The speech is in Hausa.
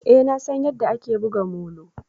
Eh nasan yadda ake buga molo